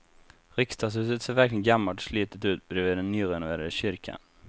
Riksdagshuset ser verkligen gammalt och slitet ut bredvid den nyrenoverade kyrkan.